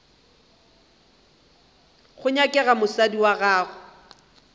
go nyakega mosadi wa gago